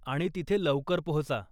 आणि तिथे लवकर पोहचा.